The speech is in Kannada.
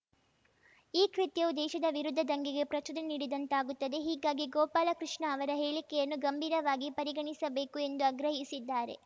ಈ ಕೃತ್ಯವು ದೇಶದ ವಿರುದ್ಧ ದಂಗೆಗೆ ಪ್ರಚೋದನೆ ನೀಡಿದಂತಾಗುತ್ತದೆ ಹೀಗಾಗಿ ಗೋಪಾಲ ಕೃಷ್ಣ ಅವರ ಹೇಳಿಕೆಯನ್ನು ಗಂಭೀರವಾಗಿ ಪರಿಗಣಿಸಬೇಕು ಎಂದು ಆಗ್ರಹಿಸಿದ್ದಾರೆ